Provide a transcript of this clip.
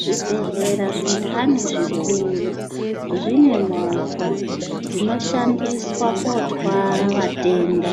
Zvibhedhlera zvindani zvikuru zvine movha dzinoshandiswa kootwara vatenda